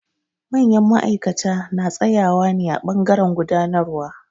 Manyan ma'aikata na tsaƴawa ne a ɓangaren gudanarwa.